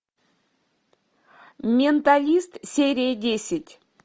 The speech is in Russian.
менталист серия десять